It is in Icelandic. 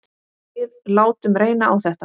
Við látum reyna á þetta.